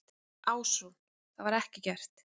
Ásrún: Það var ekki gert?